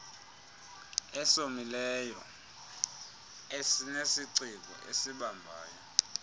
esomileyo esinesiciko esibambayo